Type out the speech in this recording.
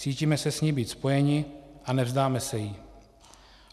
Cítíme se s ní být spojeni a nevzdáme se jí.